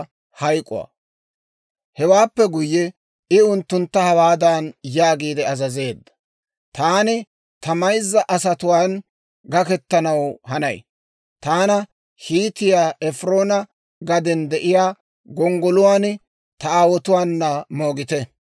Hewaappe guyye, I unttuntta hawaadan yaagiide azazeedda; «Taani ta mayza asatuwaan gakettanaw hanay; taana Hiitiyaa Efiroona gaden de'iyaa gonggoluwaan, ta aawotuwaana moogite.